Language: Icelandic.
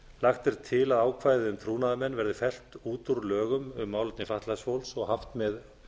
lagt er til að ákvæðið um trúnaðarmenn verði fellt út úr lögum um málefni fatlaðs fólks og haft með